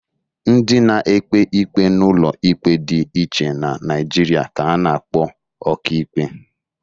Ndị na-ekpe ikpe n'ụlọ ikpe dị iche n'Naịjịrịa ka a na-akpọ ọkaikpe.